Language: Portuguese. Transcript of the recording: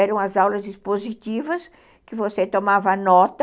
Eram as aulas expositivas que você tomava nota